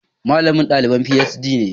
Malamin dalibin PhD ne